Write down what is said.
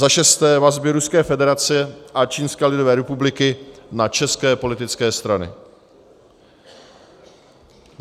za šesté: vazby Ruské federace a Čínské lidové republiky na české politické strany;